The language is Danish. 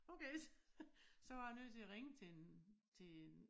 Okay så var jeg nødt til at ringe til en til en